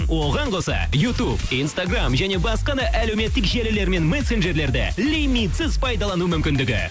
оған қоса ютуб инстаграмм және басқа да әлеуметтік желілер мен мессенджерлерде лимитсіз пайдалану мүмкіндігі